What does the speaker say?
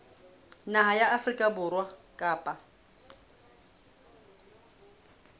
naha ya afrika borwa kapa